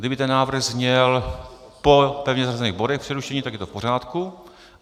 Kdyby ten návrh zněl po pevně zařazených bodech přerušení, tak je to v pořádku.